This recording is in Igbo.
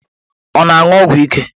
Ọ na-aṅụ ọgwụ ike?